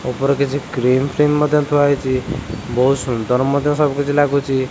ଉପରେ କିଛି କ୍ରିମ୍ ଫିମ୍ ମଧ୍ୟ ଥୁଆ ହେଇଛି ବହୁତ ସୁନ୍ଦର ମଧ୍ୟ ସବୁ କିଛି ଲାଗୁଚି।